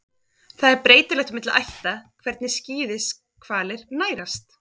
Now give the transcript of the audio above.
Það er breytilegt milli ætta hvernig skíðishvalir nærast.